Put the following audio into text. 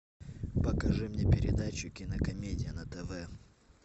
покажи мне передачу кинокомедия на тв